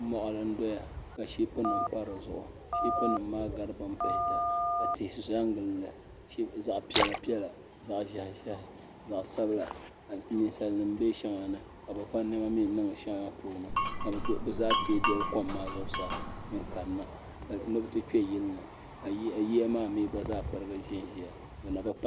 Moɣili n doya ka shiip nim pa di zuɣu shiip nim maa gari bin pihita ka tihi sa n gilli zaɣ piɛla piɛla zaɣ ʒiɛhi ʒiɛhi zaɣ sabila ka ninsal nim bɛ shɛŋa ni ka bi va niɛma mii niŋ shɛli ni ka bi zaa tee doli kom maa zuɣusaa n kanna ni bi ti kpɛ yili ni ka yiya maa mii gba zaa pirigi ʒiya bi na bi